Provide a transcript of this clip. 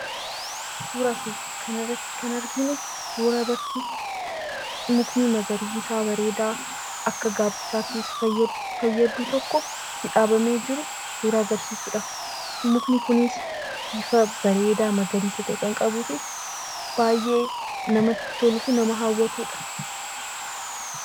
Suuraa kanarratti kan arginu suuraa mukni magariisaa bareedaa akka gaaddisaatti fayyadu tokko itti dhaabamee jiru agarsiisudha. Mukni kunis bifa bareedaa magariisa ta'e kan qabuu fi baay'ee namatti tolu fi nama hawwatudha